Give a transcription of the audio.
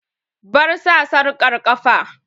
Bar sa sarƙar ƙafa!